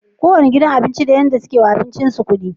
Kowanne gidan abinci da yadda suke yiwa abincin su kudi